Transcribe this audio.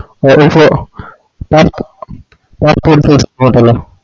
ഏകദേശം pass passport size photo ലെ